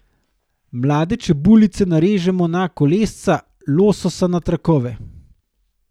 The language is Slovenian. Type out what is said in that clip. Mlade čebulice narežemo na kolesca, lososa na trakove.